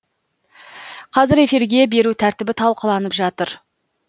қазір эфирге беру тәртібі талқыланып жатыр